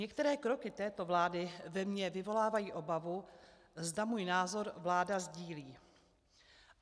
Některé kroky této vlády ve mně vyvolávají obavu, zda můj názor vláda sdílí.